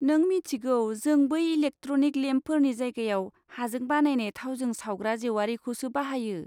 नों मिथिगौ, जों बै इलेकट्रिक लेम्पफोरनि जायगायाव हाजों बानायनाय थावजों सावग्रा जेवारिखौसो बाहायो।